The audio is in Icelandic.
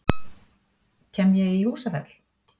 Kem ég í Húsafell?